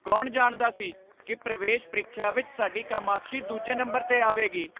ਕੌਣ ਜਾਣਦਾ ਸੀ ਕਿ ਪ੍ਰਵੇਸ਼ ਪ੍ਰੀਖਿਆ ਵਿਚ ਸਾਡੀ ਕਾਮਾਕਸ਼ੀ ਦੂਜੇ ਨੰਬਰ 'ਤੇ ਆਵੇਗੀ?